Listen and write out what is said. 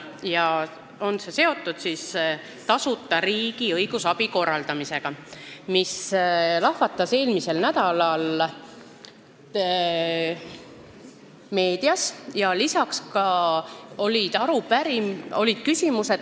See on seotud tasuta riigi õigusabi korraldamisega, mille üle lahvatas eelmisel nädalal arutelu meedias.